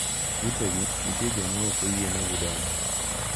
Utegi nitie joma ok oyienegi donje.